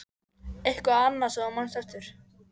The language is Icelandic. Eitthvað annað sem þú manst eftir?